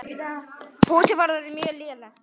Húsið var orðið mjög lélegt.